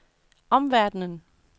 omverdenen